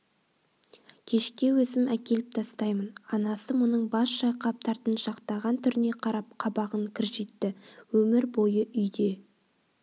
кешке өзім әкеліп тастаймын анасы мұның бас шайқап тартыншақтаған түріне қарап қабағын кіржитті өмір бойы үйде